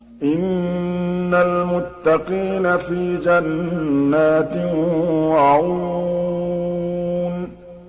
إِنَّ الْمُتَّقِينَ فِي جَنَّاتٍ وَعُيُونٍ